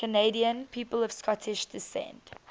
canadian people of scottish descent